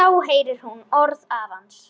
Þá heyrir hún orð afans.